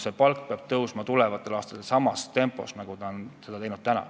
See palk peab tulevastel aastatel tõusma samas tempos nagu seni.